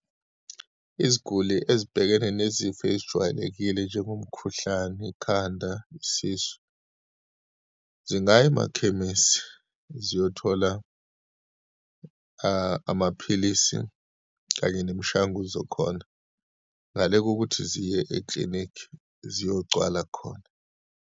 Iziguli ezibhekene nezifo ezijwayelekile njengomkhuhlane, ikhanda, isisu, zingaya emakhemesi ziyothola amaphilisi kanye nemishanguzo khona, ngale kokuthi ziye eklinikhi ziyogcwala khona.